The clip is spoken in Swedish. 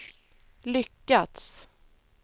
lyckats